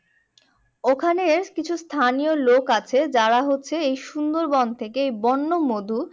ওখানের কিছু স্থানীয় লোক আছে যারা হচ্ছে এই সুন্দরবন থেকে বন্য মধু